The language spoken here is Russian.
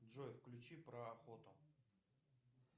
джой включи про охоту